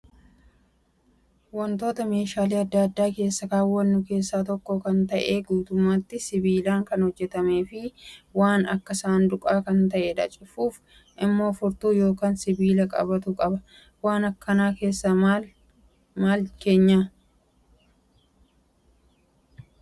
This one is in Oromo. Wantoota meeshaalee adda addaa keessa kaawwannu keessaa tokko kan ta'e guutummaatti sibiilaan kan hojjatamee fi waan Akka saanduqaa kan ta'edha. Cufuuf immoo furtuu yookaan sibiila qabatu qaba. Waan akkanaa keessa maal keenya?